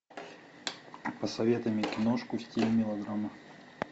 посоветуй мне киношку в стиле мелодрама